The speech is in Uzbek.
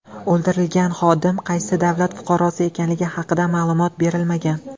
O‘ldirilgan xodim qaysi davlat fuqarosi ekanligi haqida ma’lumot berilmagan.